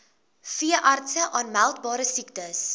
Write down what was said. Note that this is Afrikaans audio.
veeartse aanmeldbare siektes